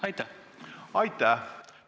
Aitäh!